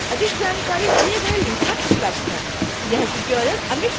इस मिशन से संबंधित अधिक जानकारी दिए गए लिंक पर उपलब्ध है